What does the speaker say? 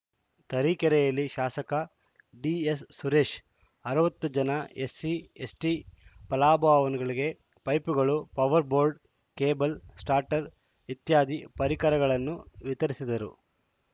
ತರೀಕೆರೆಯಲ್ಲಿ ಶಾಸಕ ಡಿಎಸ್‌ಸುರೇಶ್‌ ಅರವತ್ತು ಜನ ಎಸ್‌ಸಿ ಎಸ್‌ಟಿ ಫಲಾನುಭವಿಗಳಿಗೆ ಪೈಪುಗಳು ಪವರ್‌ ಬೋರ್ಡ್‌ ಕೇಬಲ್‌ ಸ್ಟಾರ್ಟರ್‌ ಇತ್ಯಾದಿ ಪರಿಕರಗಳನ್ನು ವಿತರಿಸಿದರು